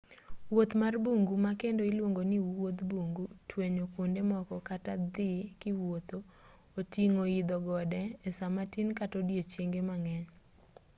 wuoth mar bungu ma kendo iluongo ni wuodh bungu” twenyo kuonde moko” kata dhii kiwuotho” oting'o idho gode e saa matin kata odichienge mang'eny